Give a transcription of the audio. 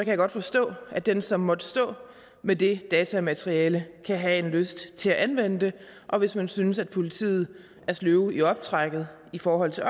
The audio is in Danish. jeg godt forstå at den som måtte stå med det datamateriale kan have en lyst til at anvende det og hvis man synes at politiet er sløve i optrækket i forhold til